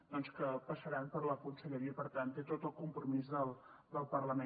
doncs que passaran per la conselleria i per tant té tot el compromís del parlament